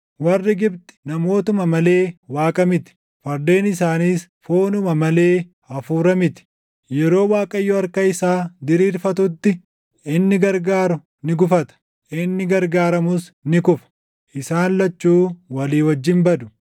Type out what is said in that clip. Warri Gibxi namootuma malee Waaqa miti; fardeen isaaniis foonuma malee hafuura miti. Yeroo Waaqayyo harka isaa diriirfatutti, inni gargaaru ni gufata; inni gargaaramus ni kufa; isaan lachuu walii wajjin badu.